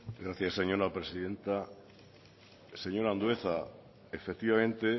gracias señora presidenta señor andueza efectivamente